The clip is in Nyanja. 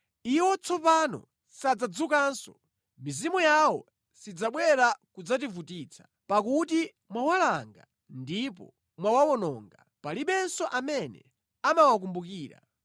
Iwo tsopano sadzadzukanso; mizimu yawo sidzabwera kudzativutitsa pakuti mwawalanga ndipo mwawawononga; palibenso amene amawakumbukira.